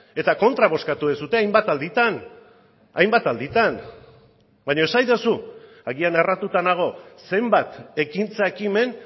eta kontra bozkatu duzue hainbat alditan beno esaidazu agian erratuta nago zenbat ekintza ekimen